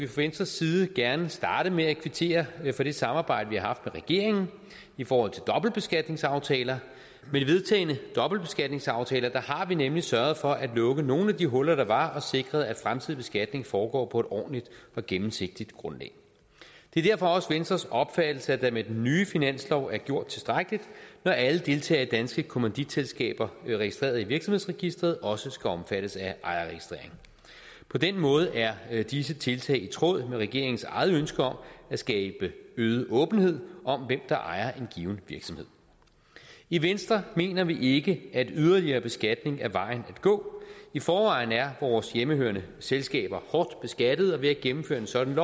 venstres side gerne starte med at kvittere for det samarbejde vi har regeringen i forhold til dobbeltbeskatningsaftaler med de vedtagne dobbeltbeskatningsaftaler har vi nemlig sørget for at lukke nogle af de huller der var og sikret at fremtidig beskatning foregår på et ordentligt og gennemsigtigt grundlag det er derfor også venstres opfattelse at der med den nye finanslov er gjort tilstrækkeligt når alle deltagere i danske kommanditselskaber registreret i virksomhedsregisteret også skal omfattes af ejerregistrering på den måde er er disse tiltag i tråd med regeringens eget ønske om at skabe øget åbenhed om hvem der ejer en given virksomhed i venstre mener vi ikke at yderligere beskatning er vejen at gå i forvejen er vores hjemmehørende selskaber hårdt beskattet og ved at gennemføre et sådant